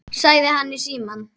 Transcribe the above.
sagði hann í símann.